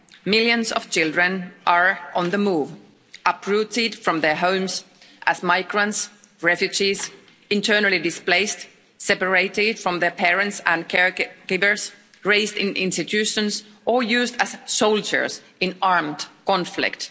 Millions of children are on the move, uprooted from their homes as migrants, refugees, internally displaced, separated from their parents and care givers, raised in institutions or used as soldiers in armed conflict.